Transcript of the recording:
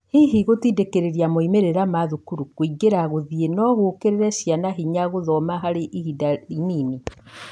Hihi gũtindĩkirĩria moimĩrĩra ma thukuru, kũingĩra, gũthiĩ nogũĩkĩre hinya ciana gũthoma harĩ ihinda rĩnini ?